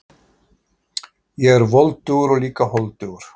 Ég er voldugur og líka holdugur.